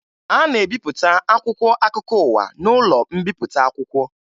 A na-ebipụta akwụkwọ akụkọ ụwa n'ụlọ mbipụta akwụkwọ